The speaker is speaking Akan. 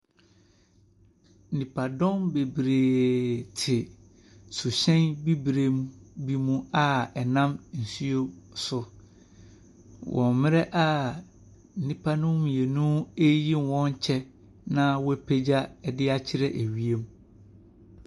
Nipadɔm bebree te suhyɛn bibre bi mu a ɛnam nsuo so wɔ mmrɛ a nipa nom mmienu reyi wɔn kyɛ na wapegya de akyerɛ ewiem.